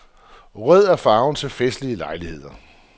Rød er farven til festlige lejligheder.